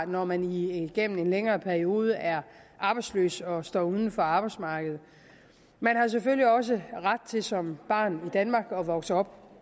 når man igennem en længere periode er arbejdsløs og står uden for arbejdsmarkedet man har selvfølgelig også ret til som barn i danmark at vokse op